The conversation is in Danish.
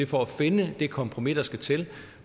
for at finde det kompromis der skal til